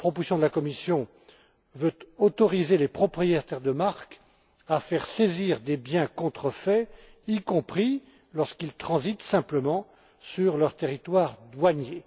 La proposition de la Commission veut autoriser les propriétaires de marques à faire saisir des biens contrefaits, y compris lorsqu'ils transitent simplement sur leur territoire douanier.